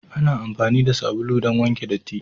Ana amfani da sabulu don wanke datti.